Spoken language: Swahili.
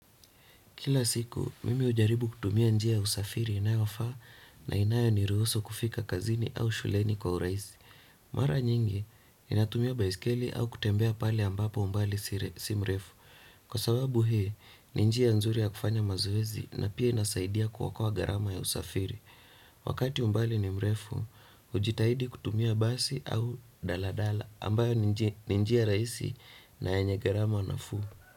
Kila siku, mimi hujaribu kutumia njia ya usafiri inayofaa na inayoniruhusu kufika kazini au shuleni kwa urahisi. Mara nyingi, ninatumia baiskeli au kutembea pale ambapo umbali si mrefu. Kwa sababu hii ni njia nzuri ya kufanya mazoezi na pia inasaidia kuokoa gharama ya usafiri. Wakati umbali ni mrefu, hujitahidi kutumia basi au daladala ambayo ni njia rahisi na yenye gharama natuu.